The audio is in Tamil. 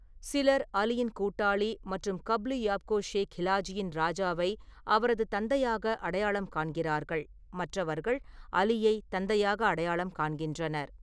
சிலர் அலியின் கூட்டாளி மற்றும் கப்லு யாப்கோ ஷே கிலாஜியின் ராஜாவை அவரது தந்தையாக அடையாளம் காண்கிறார்கள், மற்றவர்கள் அலியை தந்தையாக அடையாளம் காண்கின்றனர்.